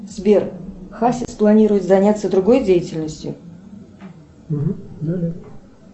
сбер хасис планирует заняться другой деятельностью